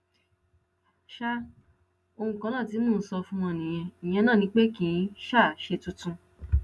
um ohun kan náà tí mò ń sọ fún wọn nìyẹn ìyẹn náà ni pé kì í um ṣe tuntun